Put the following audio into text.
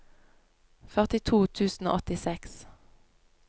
førtito tusen og åttiseks